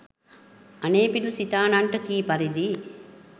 අනෙපිඬු සිටානන්ට කී පරිදි